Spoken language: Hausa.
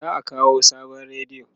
za'a kawo sabon rediyo